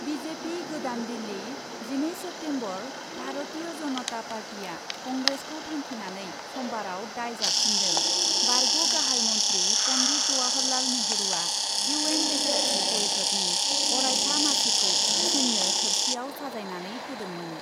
BJP गोदान दिल्ली, जिनै September, Bharatiya Janata Party आ कंग्रेसखौ थांखिनानै समबाराव दाय जाबसिन्दों, बारग' गाहाइ मन्थ्रि पन्डित जवाहरलाल नेहुरुआ इउएन रैखाथि परिषदनि अरायथा मासिखौ चिननो थोरसियाव साजायनानै होदोंमोन।